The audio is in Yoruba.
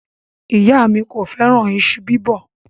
Iya mi ko feran iṣu bibo